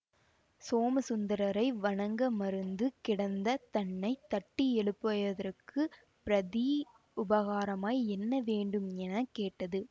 சோமசுந்தரரை வணங்க மறந்து கிடந்த தன்னை தட்டியெழுப்பயதற்குப் பிரதி உபகாரமாய் என்ன வேண்டும் என கேட்டது